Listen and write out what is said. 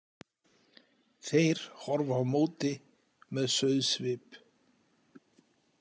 Þeir horfa á móti með sauðssvip.